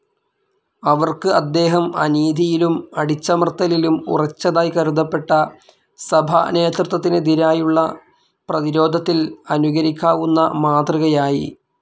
അവർക്ക് അദ്ദേഹം, അനീതിയിലും അടിച്ചമർത്തലിലും ഉറച്ചതായി കരുതപ്പെട്ട സഭാനേതൃത്വത്തിനെതിരായുള്ള പ്രതിരോധത്തിൽ അനുകരിക്കാവുന്ന മാതൃകയായി.